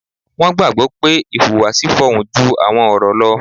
Wọ́n gbàgbọ́ pé 'ìhùwàsí fọhùn ju àwọn ọ̀rọ̀ lọ'